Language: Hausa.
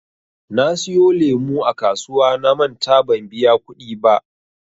Na siyo lemu a kasuwa namanta ban biya kuɗi ba.